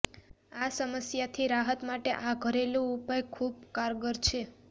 આ સમસ્યાથી રાહત માટે આ ઘરેલૂ ઉપાય ખૂબ કારગર છે